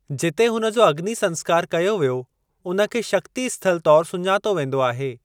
जिते हुन जो अग्नि संस्‍कार कयो वियो उन खे शक्ति स्थल तौर सुञातो वेंदो आहे।